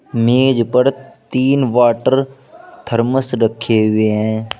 मेज पर तीन वाटर थर्मस रखे हुए है।